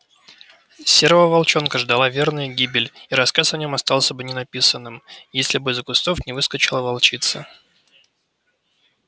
серого волчонка ждала верная гибель и рассказ о нем остался бы ненаписанным если бы из за кустов не выскочила волчица